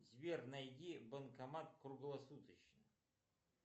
сбер найди банкомат круглосуточно